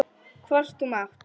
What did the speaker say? Hvort þú mátt!